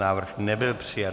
Návrh nebyl přijat.